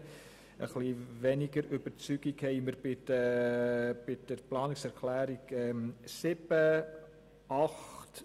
Etwas weniger überzeugt sind wir von den Planungserklärungen 7 und 8.